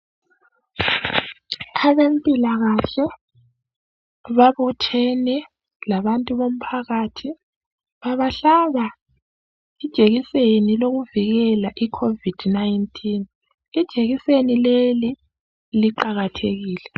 Abempilakahle babuthene labantu bomphakathi babahlaba ijekiseni yokuvikela icovid 19 ijekiseni leli liqakathekile.